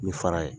Ni fara ye